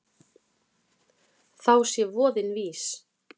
Þá sé voðinn vís.